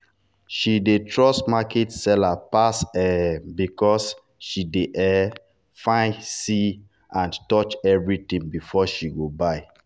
she dey trust market seller pass um because she dey um fit see and touch everything before she go buy.